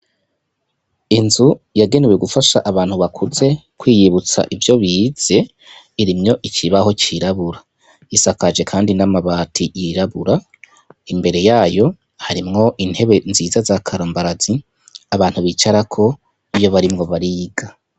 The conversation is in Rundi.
Inzu yagenewe gufasha abantu bakuze kwiyibutsa ivyo bize irimwo ikibaho cirabura isakaje kandi n'amabati yirabura imbere yayo harimwo intebe nziza za karambarazi abantu bicarako iyo barimwo bariga.